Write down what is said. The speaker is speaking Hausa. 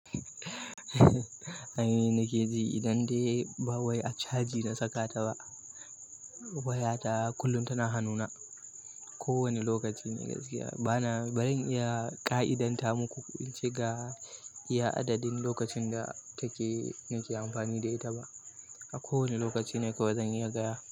Anyi nakeji idan dai ba wai a caji na saka ta ba. Waya ta kullum tana hanuna. Ko wani lokaci ne gaskiya bana, ba zan iya ka'idanta muku ince ga iya adadin lokacin da take nake amfani da ita ba. A ko wani lokaci ne kawai zan iya gaya.